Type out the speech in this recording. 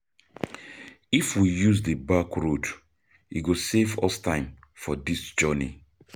If we use di back road, e go save us time for this journey.